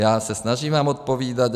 Já se snažím vám odpovídat.